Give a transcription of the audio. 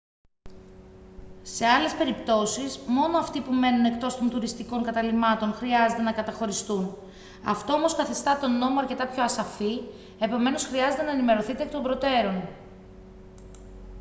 σε άλλες περιπτώσεις μόνο αυτοί που μένουν εκτός των τουριστικών καταλυμάτων χρειάζεται να καταχωριστούν αυτό όμως καθιστά τον νόμο αρκετά πιο ασαφή επομένως χρειάζεται να ενημερωθείτε εκ των προτέρων